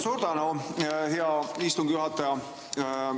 Suur tänu, hea istungi juhataja!